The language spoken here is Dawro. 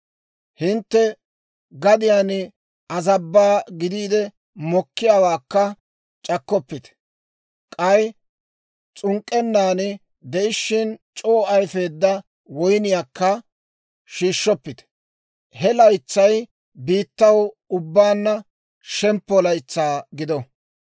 Hintte gadiyaan azabbaa gidiide mokkiyaawaakka c'akkoppite; k'ay s'unk'k'ennan de'ishshin c'oo ayfeedda woyniyaakka shiishshoppite. He laytsay biittaw ubbaanna shemppo laytsaa gido.